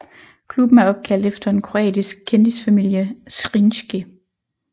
Klubben er opkaldt efter en kroatisk kendisfamilie Zrinjski